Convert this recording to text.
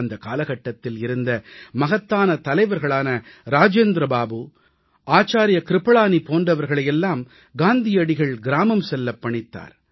அந்தக் காலகட்டத்தில் இருந்த மகத்தான தலைவர்களான ராஜேந்திர பாபு ஆச்சார்ய கிருபளானி போன்றவர்களை எல்லாம் காந்தியடிகள் கிராமம் செல்லப் பணித்தார்